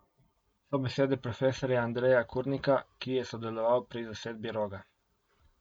So besede profesorja Andreja Kurnika, ki je sodeloval pri zasedbi Roga.